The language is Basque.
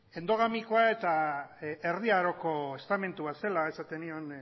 endogamikoa eta erdi aroko estamentua zela esaten nion